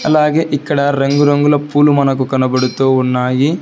అలాగే ఇక్కడ రంగురంగుల పూలు మనకు కనబడుతూ ఉన్నాయి.